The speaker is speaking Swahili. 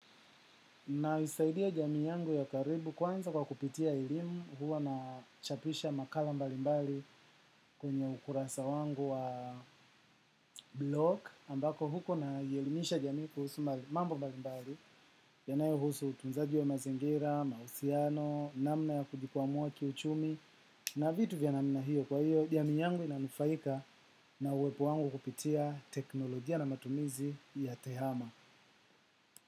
Na isaidia jamii yangu ya karibu kwanza kwa kupitia elimu huwa na chapisha makala mbalimbali kwenye ukurasa wangu wa blok ambako huko na i elimisha jamii kuhusu mambo mbalimbali yanayohusu utunzaji wa mazingira, mahusiano, namna ya kujikwamua kiuchumi na vitu vya namna hiyo kwa hiyo jamii yangu inanufaika na uwepo wangu kupitia teknolojia na matumizi ya tehama.